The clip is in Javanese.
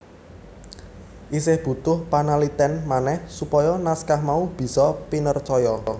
Isih butuh panalitèn manèh supaya naskah mau bisa pinercaya